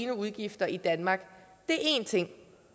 udgifter i danmark det er én ting